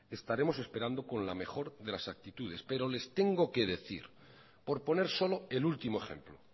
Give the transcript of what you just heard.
estaremos esperando con la mejor de las actitudes pero les tengo que decir por poner solo el último ejemplo